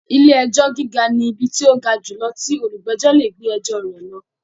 Ilé-ẹjọ́ gíga ni ibi tí tó ga jùlọ tí olùgbẹ̀jọ́ lè gbé ẹjọ rẹ̀ lọ.